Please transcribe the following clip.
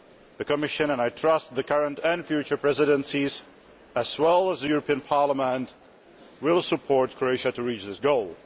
The Commission, and I trust the current and future presidencies as well as the European Parliament, will support Croatia in reaching its goal.